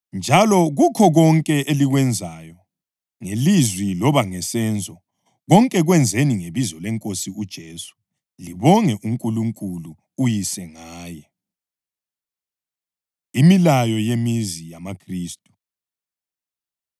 Njalo kukho konke elikwenzayo, ngelizwi loba ngesenzo, konke kwenzeni ngebizo leNkosi uJesu, libonge uNkulunkulu uYise ngaye. Imilayo Yemizi YamaKhristu